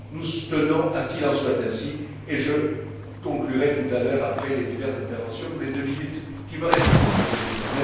Nous tenons à ce qu'il en soit ainsi, et je conclurai tout à l'heure après les différentes interventions, pendant les deux minutes qui me restent, Monsieur le Président.